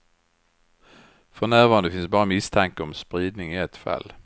För närvarande finns bara misstanke om spridning i ett fall.